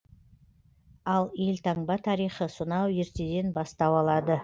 ал елтаңба тарихы сонау ертеден бастау алады